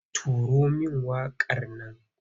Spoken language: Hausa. Turo min waƙar nan!